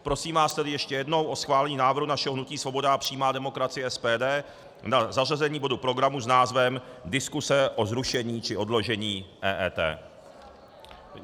Prosím vás tedy ještě jednou o schválení návrhu našeho hnutí Svoboda a přímá demokracie, SPD, na zařazení bodu programu s názvem Diskuse o zrušení či odložení EET.